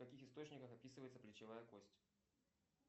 в каких источниках описывается плечевая кость